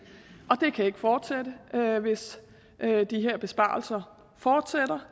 og det kan vi ikke fortsætte med hvis de her besparelser fortsætter